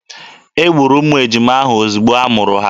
E gburu ụmụ ejima ahụ ozugbo a mụrụ ha.